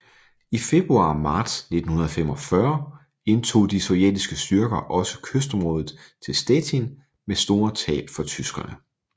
I februar og marts 1945 indtog de sovjetiske styrker også kystområdet til Stettin med store tab for tyskerne